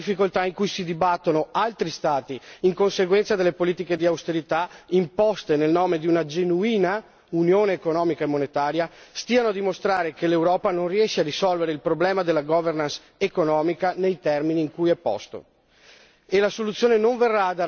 Credo che non solo la Grecia ma anche le tante difficoltà in cui si dibattono altri Stati in conseguenza delle politiche di austerità imposte nel nome di una genuina unione economica e monetaria stiano a dimostrare che l'Europa non riesce a risolvere il problema della governance economica nei termini in cui è posto.